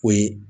O ye